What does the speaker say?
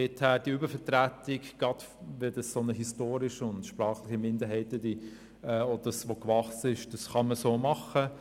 Daher kann man mit dieser Übervertretung – gerade einer sprachlichen Minderheit, wo dies historisch gewachsen ist – so verfahren.